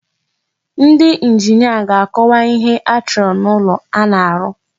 Ndị njinia ga-akọwa ihe achọrọ n'ụlọ a na-arụ.